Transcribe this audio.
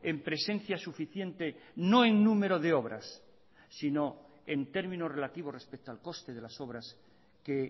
en presencia suficiente no en número de obras sino en términos relativos respecto al coste de las obras que